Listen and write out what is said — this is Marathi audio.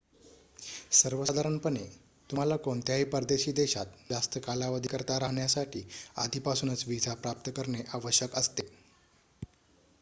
सर्वसाधारणपणे तुम्हाला कोणत्याही परदेशी देशात जास्त कालावधीकरिता राहण्यासाठी आधीपासूनच व्हिसा प्राप्त करणे आवश्यक असते